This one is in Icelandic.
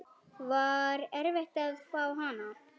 Var erfitt að fá hana?